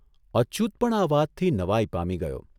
અચ્યુત પણ આ વાતથી નવાઇ પામી ગયો.